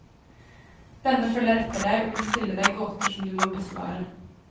Denne følger etter deg og vil stille deg gåter som du må besvare.